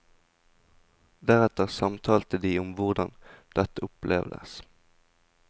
Deretter samtalte de om hvordan dette opplevdes.